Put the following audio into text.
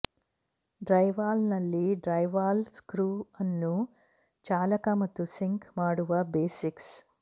ಡ್ರೈವಾಲ್ನಲ್ಲಿ drywall screw ಅನ್ನು ಚಾಲಕ ಮತ್ತು ಸಿಂಕ್ ಮಾಡುವ ಬೇಸಿಕ್ಸ್